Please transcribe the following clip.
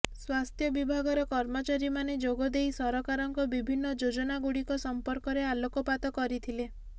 ସ୍ୱାସ୍ଥ୍ୟ ବିଭାଗର କର୍ମଚାରୀ ମାନେ ଯୋଗଦେଇ ସରକାରଙ୍କ ବିଭିନ୍ନ ଯୋଜନା ଗୁଡିକ ସମ୍ପର୍କରେ ଆଲୋକପାତ କରିଥିଲେ